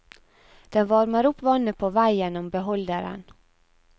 Den varmer opp vannet på vei gjennom beholderen.